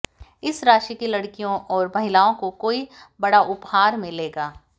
इस राशि की लड़कियों और महिलाओं को कोई बड़ा उपहार मिलेगा